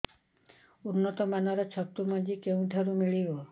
ଉନ୍ନତ ମାନର ଛତୁ ମଞ୍ଜି କେଉଁ ଠାରୁ ମିଳିବ